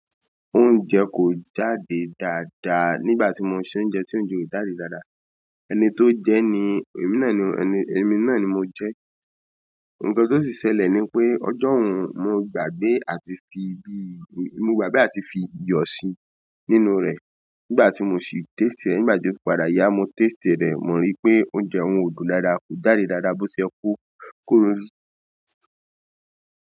Oúnjẹ kò jáde dáadáa nígbà tí mo sẹ oúnjẹ, tí oúnjẹ ò jáde dáadáa. Ẹni tó jẹ ni, èmi náà ni, èmi náà ni mo jẹ. Ǹkan tó sì ṣẹlẹ̀ ni pé ọjọ́hun mo gbàgbé àti fi bí, mo gbàgbé àti fi iyọ̀ sí inú rẹ̀. Nígbà tí mo sì i taste e, nígbà tí o fi padà yaa mo taste e den, mo rí pé oúnjẹ yẹn kò dùn dáadáa kò ja de dáadáa tó ṣe yẹn kò- kò rí.